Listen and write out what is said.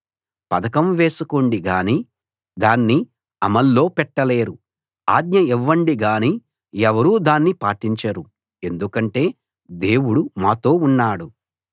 పథకం వేసుకోండి గానీ దాన్ని అమల్లో పెట్టలేరు ఆజ్ఞ ఇవ్వండి గానీ ఎవరూ దాన్ని పాటించరు ఎందుకంటే దేవుడు మాతో ఉన్నాడు